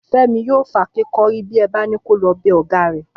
Fẹ́mi yóò fàáké kọ́rí bí ẹ bá ni ko lọ bẹ ọ̀gá rẹ̀